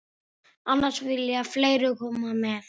Annars vilja fleiri koma með.